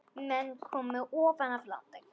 Menn komu ofan af landi.